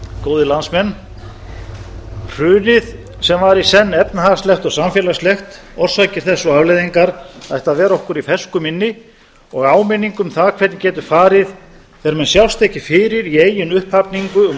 góðir landsmenn hrunið sem var í senn efnahagslegt og samfélagslegt orsakir þess og afleiðingar ætti að vera okkur í fersku minni og áminning um það hvernig getur farið þegar menn sjást ekki fyrir í eigin upphafningu um